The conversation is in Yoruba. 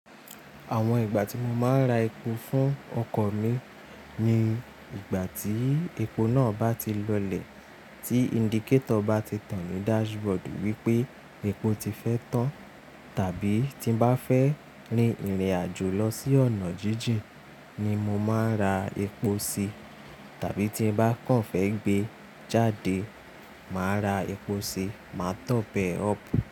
Àwọn ìgbà tí mo máa ń ra epo fún ọkọ̀ mi ni ìgbà tí epo náà bá ti lọlẹ̀, tí indicator bá ti tàn ní dashboard wípé epo ti fẹ́ tán tàbí tí n bá fẹ́ rin ìrìnàjò lọ sí ọ̀nà jíjìn ni mo máa ń ra epo sí tàbí tí n bá kàn fẹ́ gbé jáde, màá ra epo sí, màá tọ̀p ẹ up.